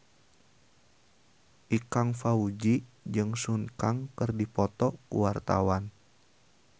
Ikang Fawzi jeung Sun Kang keur dipoto ku wartawan